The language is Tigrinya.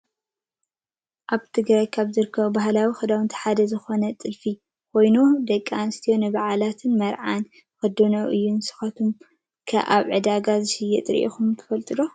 ኣብ ትግራይ ካብ ዝርከቡ ባህላዊ ክዳን ሓደ ዝኮነ ጥልፊ ኮይኑ ደቂ ኣንስትዮ ንባዓላትን መርዓን ዝክደኖኦ እዩ። ንስኩም'ከ ኣብ ዕዳጋ ዝሽየጥ ሪኢኩም ትፈልጡ ዶ?